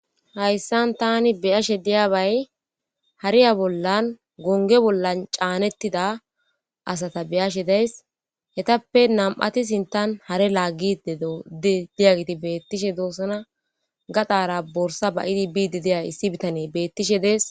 Hayissan tani be'ashshe de'iyabayi,hariya bolaan goniga bolla canetida asata be'ashshe dayis. etappe nami'atti sintanni hare laggidee di'igate bettishshe dosona ,gadara borssa ba'iddi biidi diza issi bitana bettishshe de'es .